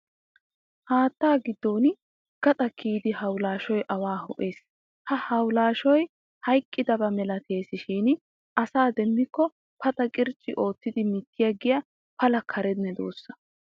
Haatta giddoppe gaxaa kiyidi hawulaashoy awaa ho'es. Ha hawulaashoy hayqqidaba malteesishin asaa demmikko paxa qircci oottidi mitiyaaggiya pala kare medossa.